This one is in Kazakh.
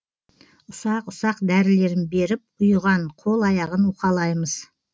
ұсақ ұсақ дәрілерін беріп ұйыған қол аяғын уқалаймыз